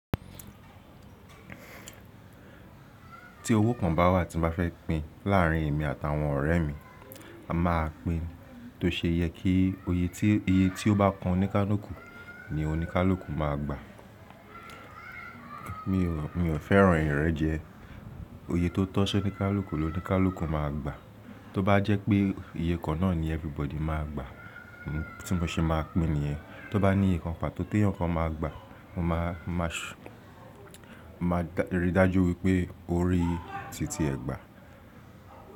Tí owó kan bá wà tí mo bá fẹ́ pín láàárín èmi àtàwọn ọ̀rẹ́ mi, a máa pín tó ṣe yẹ kí iye tí ó bá kan oníkálùkù ni oníkálùkù máa gbà. Mi ò, mi ò fẹ́ràn ìrẹ́jẹ. Oye tó tọ́ sí oníkálùkù ló oníkálùkù máa gbà. Tó bá jẹ́ pé iye kan náà ni everybody máa gbà tí mo ṣe máa pín nìyẹn. Tó bá ní ìyè kan pàtó tí ẹ̀yàn kan máa gbà, mo máa, máa ṣ-- máa rí i dájú wípé ó rí títí ẹ̀ gbà.